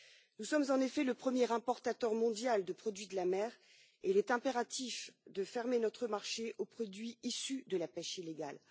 Nous sommes en effet le premier importateur mondial de produits de la mer et il est impératif de fermer notre marché aux produits issus de la pêche illégale.